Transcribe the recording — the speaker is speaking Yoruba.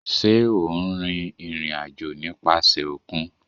Ṣe o n rin irin-ajo nipasẹ okun?